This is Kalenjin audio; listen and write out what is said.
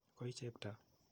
Koi Cheptoo.